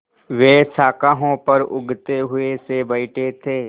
वे शाखाओं पर ऊँघते हुए से बैठे थे